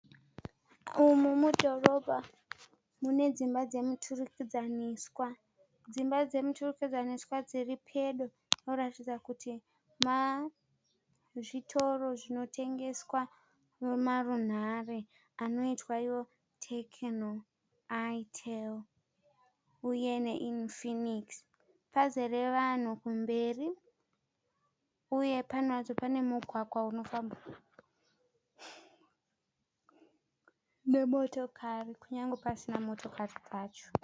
Umu mudhorobha mune dzimba dzemuturikidzaniswa. Dzimba dzemuturikidzaniswa dziri pedo kuratidza kuti zvitoro zvinotengeswa nemarunhare anoitwa iwo Techno, Itel uye neInfinix. Pazere vanhu kumberi uye pano apa pane mugwagwa unofambwa nemotokari kunyangwe pasina motokari dzacho.